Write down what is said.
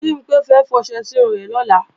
Bimpé fẹ́ fọṣẹ sírun rẹ̀ lọ́la